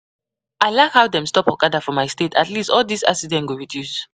I like how dem stop okada for my state at least all dis accident go reduce